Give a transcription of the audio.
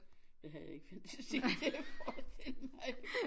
Det havde jeg ikke fantasi til at forestille mig